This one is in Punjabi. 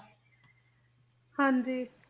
ਹਾਂਜੀ